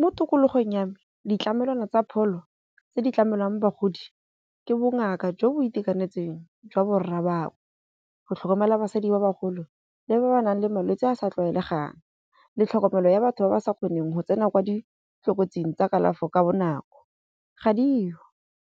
Mo tikologong ya me ditlamelwana tsa pholo tse di tlamelwang bagodi ke bongaka jo bo itekanetseng jwa borra bangwe. Go tlhokomela basadi ba ba golo le ba ba nang le malwetsi a sa tlwaelegang le tlhokomelo ya batho ba ba sa kgoneng go tsena kwa ditlokotsing tsa kalafi ka bonako. Ga di yo